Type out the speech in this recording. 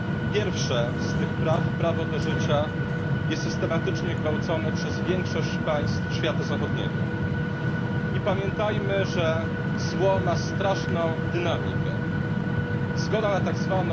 pierwsze z tych praw prawo do życia jest systematycznie gwałcone przez większość państw świata zachodniego. I pamiętajmy, że zło ma straszną dynamikę zgoda na tzw.